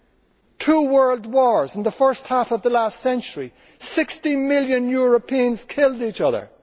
from? There were two world wars in the first half of the last century and 60 million Europeans killed each